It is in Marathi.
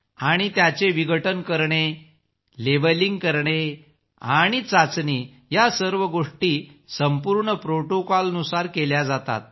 आणि त्याचे विघटन करणे लेबलिंग करणे आणि चाचणी या सर्व गोष्टी संपूर्ण प्रोटोकॉल नुसार केल्या जातात